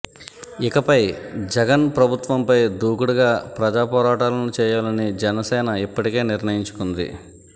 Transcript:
ఇకపై జగన్ ప్రభుత్వం పై దూకుడుగా ప్రజా పోరాటాలను చేయాలని జనసేన ఇప్పటికే నిర్ణయించుకుంది